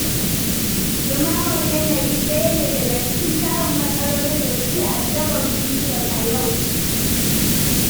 Ɗumamar yanayi ɗaya ne daga cikin tarin matsalolin da suke addabar duniyar yau.